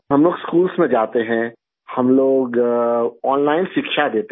ہم لوگ اسکول میں جاتے ہیں، ہم لوگ آن لائن تعلیم دیتے ہیں